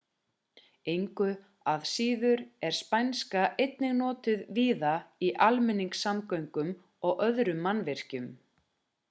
engu að síður er spænska einnig notuð víða í almenningssamgöngum og öðrum mannvirkjum